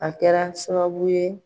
A kɛra sababu ye.